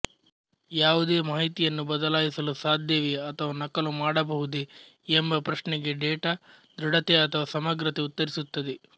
ಯಾವೂದೆ ಮಾಹಿತಿಯನ್ನು ಬದಲಾಯಿಸಲು ಸಾಧ್ಯವೇ ಅಥವ ನಕಲು ಮಾಡಬಹುದೇ ಎಂಬ ಪ್ರಶ್ನೆಗೆ ಡೇಟಾ ದೃಡತೆ ಅಥವ ಸಮಗ್ರತೆ ಉತ್ತರಿಸುತ್ತದೆ